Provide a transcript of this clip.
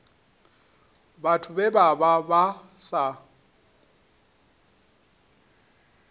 vhathu vhe vha vha sa